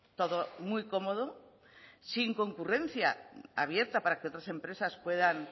todo muy cómodo sin concurrencia abierta para que otras empresas puedan